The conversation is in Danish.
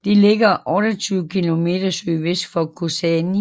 Den ligger 28 km sydvest for Kozani